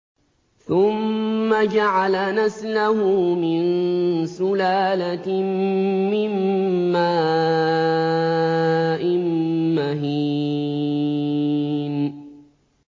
ثُمَّ جَعَلَ نَسْلَهُ مِن سُلَالَةٍ مِّن مَّاءٍ مَّهِينٍ